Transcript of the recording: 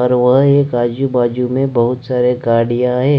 और वह एक आजू बाजू में बहुत सारे गार्डया है।